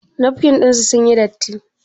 Nafkin ɗin sun yi datti?